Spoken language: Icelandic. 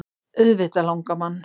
Auðvitað langar mann.